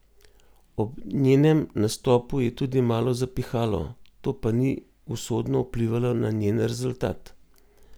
Ob njenem nastopu je tudi malo zapihalo, to pa ni usodno vplivalo na njen rezultat.